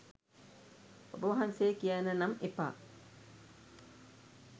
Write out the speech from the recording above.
ඔබවහන්සේ කියන්න නම් එපා